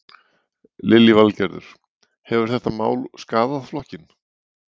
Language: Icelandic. Lillý Valgerður: Hefur þetta mál skaðað flokkinn?